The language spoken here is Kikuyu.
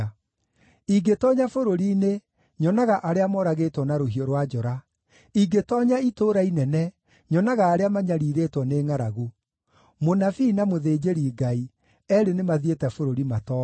Ingĩtoonya bũrũri-inĩ, nyonaga arĩa moragĩtwo na rũhiũ rwa njora; ingĩtoonya itũũra inene, nyonaga arĩa manyariirĩtwo nĩ ngʼaragu. Mũnabii na mũthĩnjĩri-Ngai, eerĩ nĩmathiĩte bũrũri matooĩ.’ ”